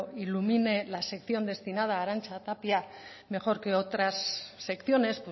ilumine la sección destinada a arantxa tapia mejor que otras secciones